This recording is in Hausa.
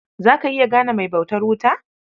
Za ka iya gane mai bautar wuta?